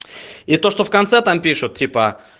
и то что в конце там пишут типа